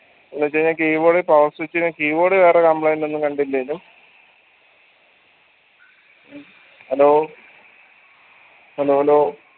എന്ന് വെച്ചെയ്‌നാൽ keyboard power switch ന് keyboard ന് വേറെ complaint ഒന്നും കണ്ടില്ലെങ്കിലും hello hello hello